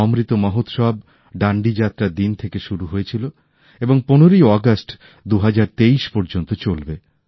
অমৃত মহোৎসব ডান্ডি যাত্রার দিন থেকে শুরু হয়েছিল এবং ১৫ই অগাস্ট ২০২৩ পর্যন্ত চলবে